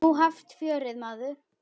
Nú hefst fjörið, maður.